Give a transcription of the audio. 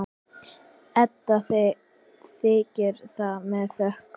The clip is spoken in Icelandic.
Edda þiggur það með þökkum.